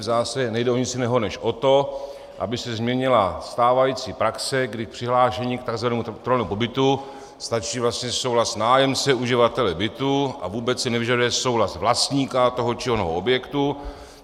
V zásadě nejde o nic jiného než o to, aby se změnila stávající praxe, kdy k přihlášení k tzv. trvalému pobytu stačí vlastně souhlas nájemce uživatele bytu a vůbec se nevyžaduje souhlas vlastníka toho či onoho objektu.